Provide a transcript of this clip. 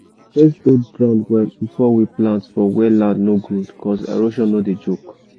we dey first hold ground well before we plant for where land no good cuz erosion no dey joke.